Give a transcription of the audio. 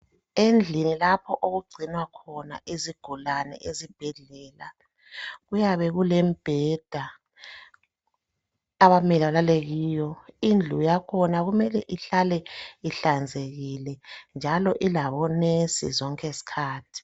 Endlini lapho okugcinwa khona izigulane ezibhedlela kuyabe kulembheda abamele belale kiyo indlu yakhona kumele ihlale ihlanzekile njalo ilabonesi zonke izikhathi.